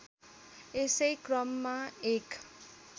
यसै क्रममा एक